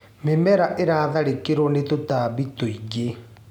Mĩmera ĩratharĩkĩirwo nĩ tũtambu tũingĩ.